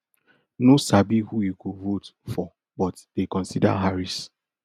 no sabi who e go vote for but dey consider harris